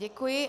Děkuji.